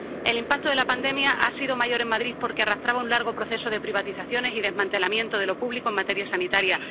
El impacto de la pandemia ha sido mayor en Madrid porque arrastraba un largo proceso de privatizaciones y desmantelamientos de lo público en materia sanitaria.